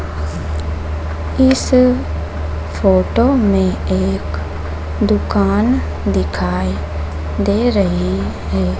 इस फोटो में एक दुकान दिखाई दे रही हैं।